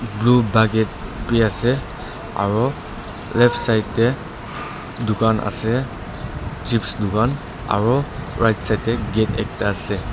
blue bucket bi ase aro left side tae dukan ase chips dukan aro right side tae gate ekta ase.